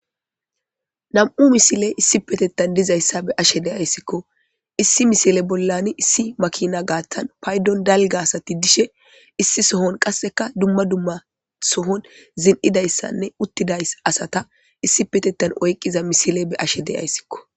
Nam7u misile issipetettan dizayssa be7ashe deyayssikko issi misile bollani issi makina gaaththan paydon dalga asati dishe issi sohon qasseka dumma dumma sohon zin7idayssanne uttiday asata issi petettan oyqqiza misile be ashe deyayssikko.